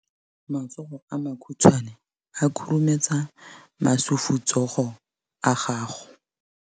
Matsogo a makhutshwane a khurumetsa masufutsogo a gago.